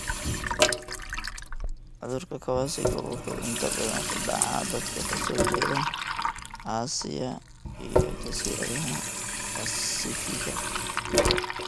Cudurka Kawasaki wuxuu inta badan ku dhacaa dadka ka soo jeeda Aasiya iyo Jasiiradaha Baasifigga.